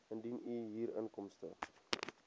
indien u huurinkomste